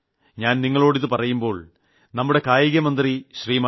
ഞാൻ നിങ്ങളോട് ഇത് പറയുമ്പോൾ തന്നെ നമുടെ കായികമന്ത്രി ശ്രീ